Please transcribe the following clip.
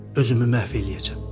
Özümü məhv eləyəcəm.